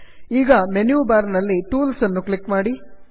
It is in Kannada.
ಈಗ ಮೆನ್ಯು ಬಾರ್ ನಲ್ಲಿ ಟೂಲ್ಸ್ ಅನ್ನು ಕ್ಲಿಕ್ ಮಾಡಿ